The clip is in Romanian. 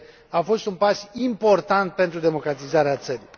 a fost un pas important pentru democratizarea țării.